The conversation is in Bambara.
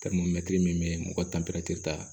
min bɛ yen mɔgɔ tan pɛrɛn tɛ taa